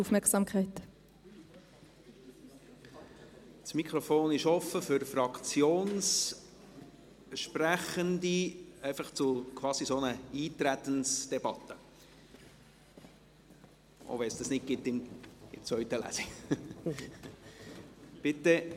Das Mikrofon ist offen für Fraktionssprechende, einfach quasi für eine Art Eintretensdebatte, auch wenn es eine solche in der zweiten Lesung nicht gibt.